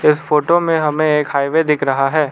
इस फोटो में हमें एक हाईवे दिख रहा है।